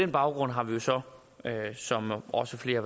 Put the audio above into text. baggrund har vi så som også flere